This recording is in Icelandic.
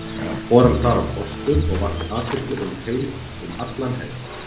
Fór hann þar á kostum og vakti athygli um allan heim.